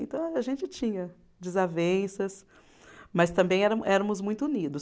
Então, a gente tinha desavenças, mas também éramo éramos muito unidos.